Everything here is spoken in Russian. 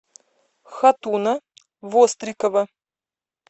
хатуна вострикова